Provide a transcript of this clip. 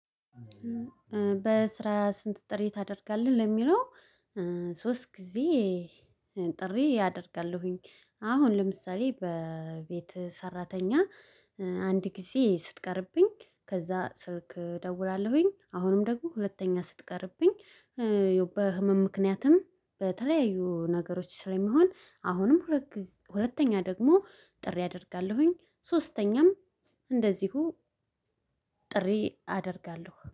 በስራ ስንት ጥሪ ታደርጋለህ ለሚለው? ሶስት ጊዜ ጥሪ አደርጋለሁኝ። አሁን ለምሳሌ በቤት ሰራተኛ። አንድ ጊዜ ስትቀርብኝ ከዛ ስልክ እደውላለሁኝ አሁንም ደግሞ ሁለተኛ ስትቀርብኝ። ያው በህመም ምክንያትም በተለያዩ ነገሮች ስለሚሆን አሁንም። ሁለተኛ ደግሞ ጥሪ አደርጋለሁኝ ሶስተኛም እንደዚሁ ጥሪ አደርጋለሁ